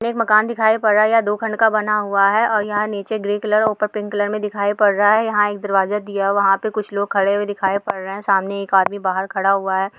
एक मकान दिखाई पड़ रहा है। ये दो खंड का बना हुआ है और यहां नीचे ग्रे कलर ऊपर पिंक कलर में दिखाई पड़ रहा है। यहां एक दरवाजा दिया हुआ है। वहां पर कुछ लोग खड़े हुए दिखाई पड़ रहे हैं। सामने एक आदमी बाहर खड़ा हुआ है।